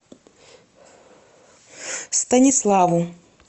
станиславу